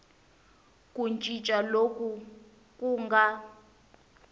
ku cinca loku ku nga